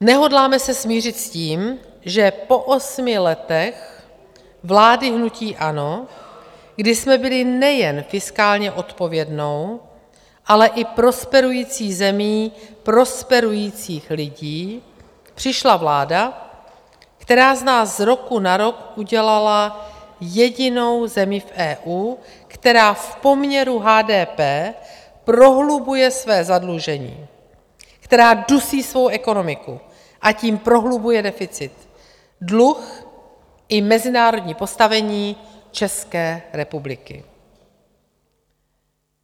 Nehodláme se smířit s tím, že po osmi letech vlády hnutí ANO, kdy jsme byli nejen fiskálně odpovědnou, ale i prosperujících zemí prosperujících lidí, přišla vláda, která z nás z roku na rok udělala jedinou zemi v EU, která v poměru HDP prohlubuje své zadlužení, která dusí svou ekonomiku, a tím prohlubuje deficit, dluh i mezinárodní postavení České republiky.